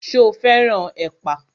Ṣo fẹ́ràn ẹ̀pà?